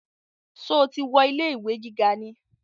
Sọ ti wọ ilé ìwé gíga ni?